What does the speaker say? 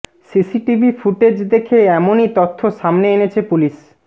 CCTV footage দেখে এমনই তথ্য সামনে এনেছে পুলিশ